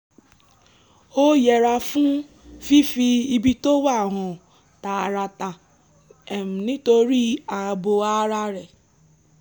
ó yẹra fún ffífi ibi tó wà hàn tààràtà nítorí ààbò ara ẹ̀